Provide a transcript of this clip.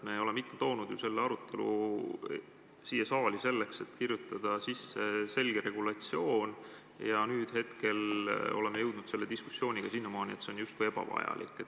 Me oleme ikka toonud ju selle arutelu siia saali selleks, et kirjutada sisse selge regulatsioon, ja nüüd oleme jõudnud selle diskussiooniga siiamaani, et see on justkui ebavajalik.